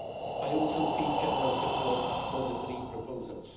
I also see general support for the three proposals.